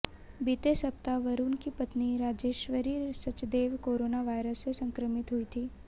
बीते सप्ताह वरुण की पत्नी राजेश्वरी सचदेव कोरोना वायरस से संक्रमित हुईं थी